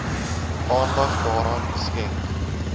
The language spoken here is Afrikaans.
aandag daaraan skenk